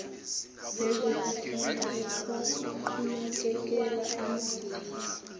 nezokufunda ukunakekelwa emakhaya